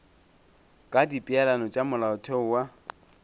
ka dipeelano tša molaotheo wa